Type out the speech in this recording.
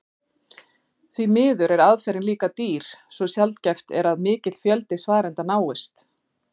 Því miður er aðferðin líka dýr svo sjaldgæft er að mikill fjöldi svarenda náist.